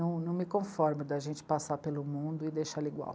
Não, não me conformo de a gente passar pelo mundo e deixá-lo igual.